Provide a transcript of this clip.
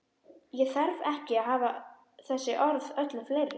Ég þarf ekki að hafa þessi orð öllu fleiri.